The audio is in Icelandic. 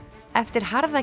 eftir harða